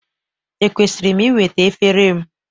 Ekwesịrị m iweta efere m?